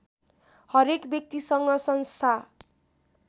हरेक व्यक्तिसँग संस्था